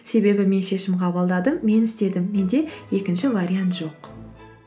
себебі мен шешім қабылдадым мен істедім менде екінші вариант жоқ